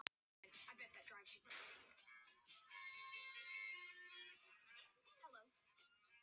Allt í einu breytist hljóðið í hvin.